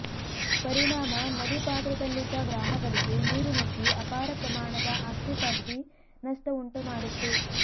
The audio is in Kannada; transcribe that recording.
ಪರಿಣಾಮ ನದಿ ಪಾತ್ರದಲ್ಲಿದ್ದ ಗ್ರಾಮಗಳಿಗೆ ನೀರುನುಗ್ಗಿ ಅಪಾರಪ್ರಮಾಣದ ಆಸ್ತಿಪಾಸ್ತಿ ನಷ್ಟ ಉಂಟು ಮಾಡಿತ್ತು